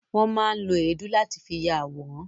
Won má ń lo èédú láti fi ya àwòrán